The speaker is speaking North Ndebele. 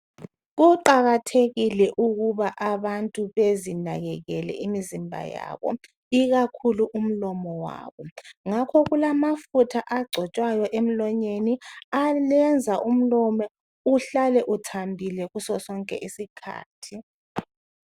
Kuqakathekile ukuba abantu bezinakekekele imizimba yabo, ikakhulu imlomo yabo. Ngakho kulamafutha agcotshwayo emlonyeni ayenza umlomo uhlale uthambile ngaso sonke isikhathi.